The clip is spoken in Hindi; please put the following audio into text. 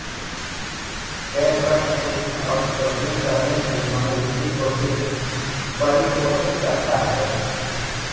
खेल प्रश्न पूछने और खोजबीन करने की मनोवृत्ति को भी परिपोषित करता है